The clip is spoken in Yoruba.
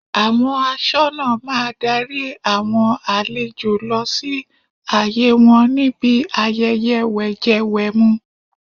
Àwọn aṣọ́nà máa darí àwọn àlejò lọ sí àyè wọn níbi ayẹyẹ wẹ̀jẹwẹ̀mu.